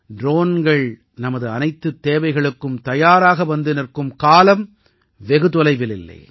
ட்ரோன்கள் நமது அனைத்துத் தேவைகளுக்கும் தயாராக வந்து நிற்கும் காலம் வெகு தொலைவில் இல்லை